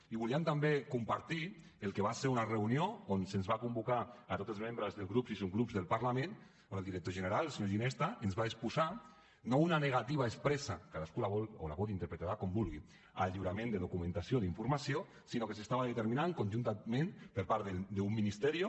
i volíem també compartir el que va ser una reunió on se’ns va convocar a tots els membres dels grups i subgrups del parlament on el director general el senyor ginesta ens va exposar no una negativa expressa cadascú la vol o la pot interpretar com vulgui al lliurament de documentació d’informació sinó que s’estava determinant conjuntament per part d’un ministerio